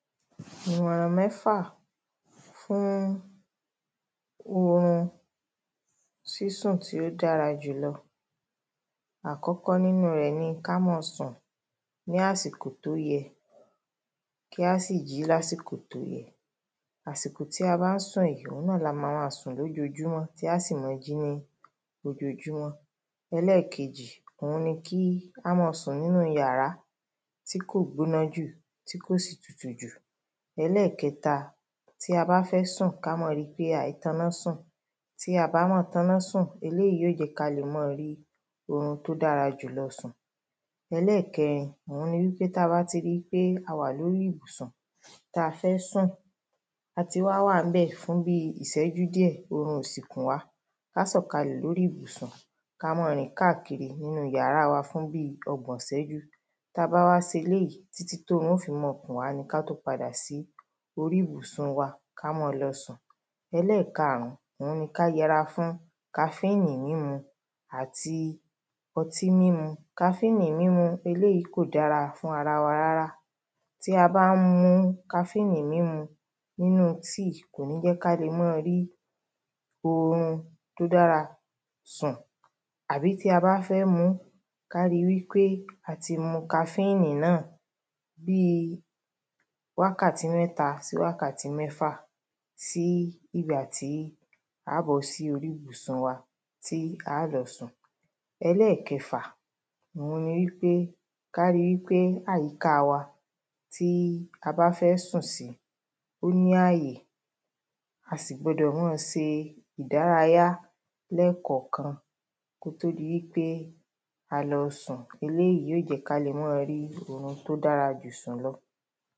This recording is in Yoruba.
ìmọ̀ràn mẹ́fà fún orun sísùn tí ó dára jùlọ. àkọ́kọ́ nínu rẹ̀ ní ká mọ́ọ sùn ní àsìkò tó yẹ kí á sì jí ní àsìkò tó yẹ. àsìkò tí a bá ń sùn yí òun náà ni a mamama sùn ní ojojúmọ́ tí aá sì mọ jí ní ojojúmọ́. ẹlẹ́kejì, óun ni kí a mọ́ọ sùn nínúu yàrá tí kò gbóná jù tí kò sì tútú jù. ẹlẹ́kẹta, tí a bá fẹ́ sùn, ká mọ ri pé aìítọná sùn, tí aàbá mọ tọná sùn, eléyìí óò jẹ́ ká le mọ rí orun tí ó dárá jùlọ sùn. ẹlẹ́kẹrin, òun ni wípé tí a bá ti ri wípé a wà lórí ibùsùn ta fẹ́ sùn, a ti wá wàábẹ̀ fún bíi ìṣẹ́jú díẹ̀, orun ò sì kùn wá, ká sọ̀kalẹ̀ lórí ìbùsùn, ka mọ́ọ rìn káàkiri nínu yàrá wa fún bíi ọgbọ̀n ìṣẹ́jú, tabáwá séléyí títí tórun ó fi mọ kùn wá ni ká tó padà sí orí ìbùsùn wa ka mọ́ọ lọ sùn. ẹlẹ́kaàrún, òun ni ká yẹra fún káfíìnì mímú àti ọtí mímu. káfíìnì mímu, eléyìí kò dára fún arawa rárá, tí a bá ń mu káfíìnì mímu nínúu tíì, kòní jẹ́ kále máa rí orun tó dára sùn. àbí tí a bá fẹ́ muú, ká ri wípè a ti mu káfíìnì náà bíi wákàtí mẹ́ta sí bíi wákàtí mẹ́fà, sí ìgbà tí aá bọ́ sí orí ìbùsùn wa tí aá lọ sùn. ẹlẹ́kẹfà, òun ni wípé ká ri wípé àyíkáa wa tí a bá fẹ́ sùn sí, ó ní àyè, a sì gbudọ̀ mọ́ọ se ìdárayá lẹ́ẹ̀kànkan kótó di wípé a lọ sùn, eléyìí óò jẹ́ ká le mọ́ọ rí orun tó dárajù sùn lọ.